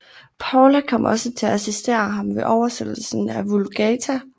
Paula kom også til at assistere ham ved oversættelsen af Vulgata